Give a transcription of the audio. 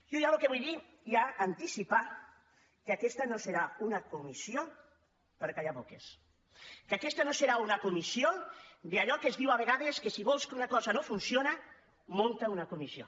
jo ja el que vull dir i anticipar que aquesta no serà una comissió per callar boques que aquesta no serà una comissió d’allò que es diu a vegades que si vols que una cosa no funcioni munta una comissió